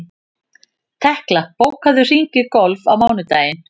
Tekla, bókaðu hring í golf á mánudaginn.